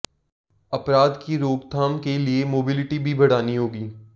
अपराध की रोकथाम के लिए मोबिलिटी भी बढ़ानी होगी